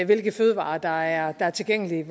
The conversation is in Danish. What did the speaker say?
hvilke fødevarer der er er tilgængelige